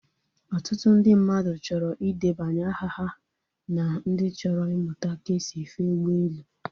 Otutu ndị mmadụ chọrọ ị debanye aha ha na ndị chọrọ imụta ka esi efe ụgbọelu